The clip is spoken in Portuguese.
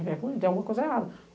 Tem alguma coisa errada.